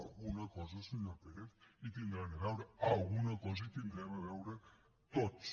alguna cosa senyor pérez hi deuen tenir a veure alguna cosa hi devem tenir a veure tots